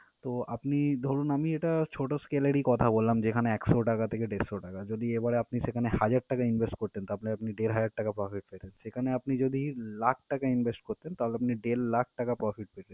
তো, আপনি ধরুন আমি এটা ছোটো scale এরই কথা বললাম যেখানে একশো টাকা থেকে দেড়শো টাকা। যদি এবারে আপনি সেখানে হাজার টাকা invest করতেন তার মানে আপনি দেড় হাজার টাকা profit পেতেন, সেখানে আপনি যদি লাখ টাকা invest করতেন তাহলে আপনি দেড় লাখ টাকা profit পেতে~